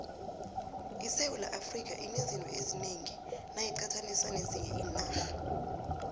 isewula afrika inezinto ezinengi nayiqathaniswa nezinye iinarha